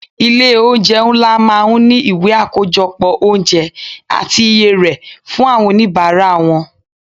Ilé oúnjẹ ńlá máa ń ní ìwé akojopo oúnjẹ àti iye rè fún àwọn onibara wọn.